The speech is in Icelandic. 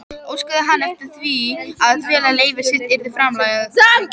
Hún sýndi engum einkunnabækur hinna krakkanna, og Lóa Lóa var dauðfegin.